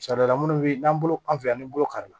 Sariya la minnu bɛ n'an bolo an fɛ yan an bɛ bolo kari